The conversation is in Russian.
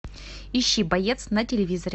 ищи боец на телевизоре